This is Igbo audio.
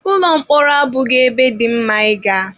Ụlọ mkpọrọ abụghị ebe dị mma ịga.